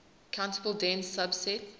countable dense subset